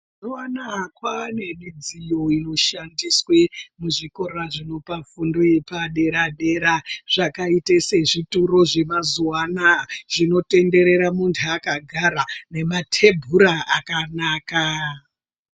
Mazuwa anaya kwane midziyo inoshandiswe muzvikora zvinopa fundo yepadera-dera, Zvakaite sezvituro zvemazuwa anaa, zvinotenderera muntu akagara, nematebhura akanaka.